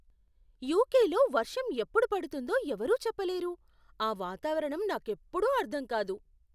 యుకేలో వర్షం ఎప్పుడు పడుతుందో ఎవరూ చెప్పలేరు, ఆ వాతావరణం నాకెప్పుడూ అర్ధం కాదు.